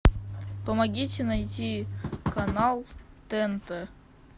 помогите найти канал тнт